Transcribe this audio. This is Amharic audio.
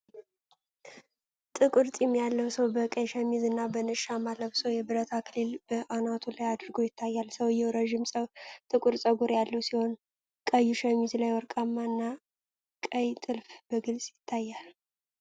ጥቁር ጢም ያለው ሰው በቀይ ሸሚዝ እና በነጭ ሻማ ለብሶ፤ የብረት አክሊል በአናቱ ላይ አድርጎ ይታያል። ሰውየው ረጅም ጥቁር ፀጉር ያለው ሲሆን፤ ቀይ ሸሚዙ ላይ ወርቃማ እና ቀይ ጥልፍ በግልጽ ይታያል።